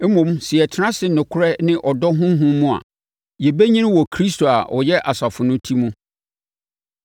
Mmom, sɛ yɛtena ase nokorɛ ne ɔdɔ honhom mu a, yɛbɛnyini wɔ Kristo a ɔyɛ asafo no Ti mu.